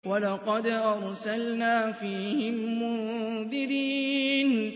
وَلَقَدْ أَرْسَلْنَا فِيهِم مُّنذِرِينَ